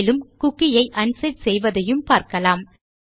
மேலும் குக்கி ஐ அன்செட் செய்வதையும் பார்க்கலாம்